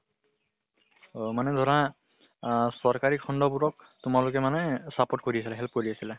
অহ মানে ধৰা আহ চৰকাৰী খিন্ড বোৰক তোমালোকে মানে support কৰি আছলা, help কৰি আছিলা?